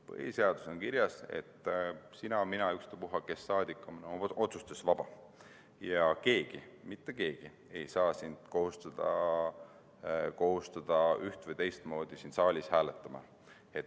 Põhiseaduses on kirjas, et sina, mina, ükstapuha kes rahvasaadikutest on oma otsustes vaba ja mitte keegi ei saa sind kohustada üht- või teistmoodi siin saalis hääletama.